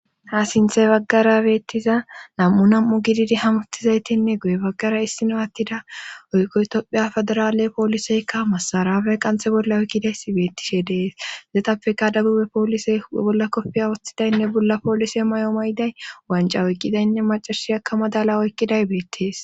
Ha sinthey baggara beettiza nam7u nam7u gididi hamuttizaytinne guye baggara issino attida oykkoytopphiya federaale pooliseykka masaraafey qanthe bolla oykkidays beettishe dees zetappeka dagube poolise ebolla koppiya woththidaynne bolla poolise may7o mayday wanca oykkidaynne macashi aka madala oykkiday beettees